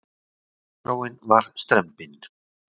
Dagskráin var strembin.